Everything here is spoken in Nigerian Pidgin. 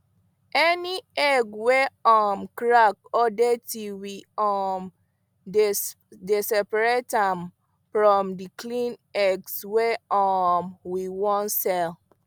any egg wey um crack or dirty we um dey separate am from the clean ones wey um we wan sell